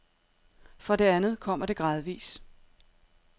For det andet kommer det gradvis.